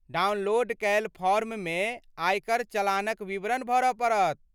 Download कयल फॉर्ममे आयकर चलानक विवरण भरऽ पड़त।